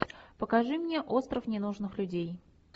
покажи мне остров ненужных людей